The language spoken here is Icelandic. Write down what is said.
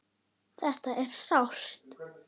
Þetta er sárt.